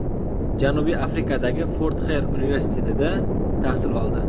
Janubiy Afrikadagi Fort Xer universitetida tahsil oldi.